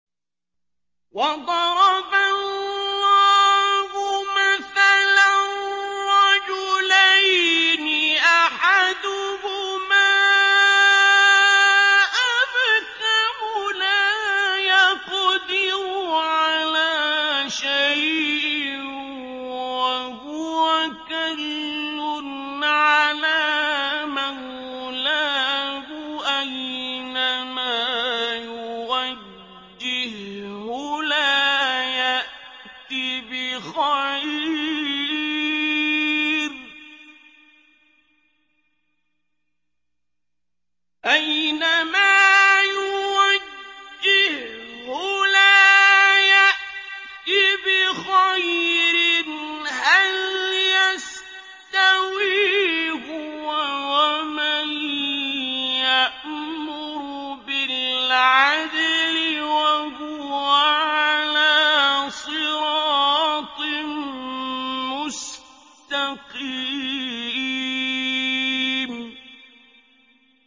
وَضَرَبَ اللَّهُ مَثَلًا رَّجُلَيْنِ أَحَدُهُمَا أَبْكَمُ لَا يَقْدِرُ عَلَىٰ شَيْءٍ وَهُوَ كَلٌّ عَلَىٰ مَوْلَاهُ أَيْنَمَا يُوَجِّههُّ لَا يَأْتِ بِخَيْرٍ ۖ هَلْ يَسْتَوِي هُوَ وَمَن يَأْمُرُ بِالْعَدْلِ ۙ وَهُوَ عَلَىٰ صِرَاطٍ مُّسْتَقِيمٍ